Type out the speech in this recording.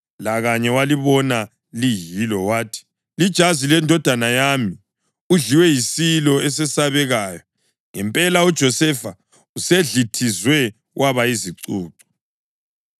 Lakanye walibona liyilo wathi, “Lijazi lendodana yami. Udliwe yisilo esesabekayo. Ngempela uJosefa usedlithizwe waba yizicucu.”